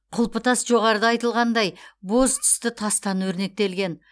құлпытас жоғарыда айтылғандай боз түсті тастан өрнектелген